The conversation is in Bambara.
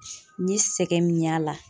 N ye sɛgɛn min y'a la.